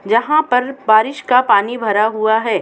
जहां पर बारिश का पानी भरा हुआ है।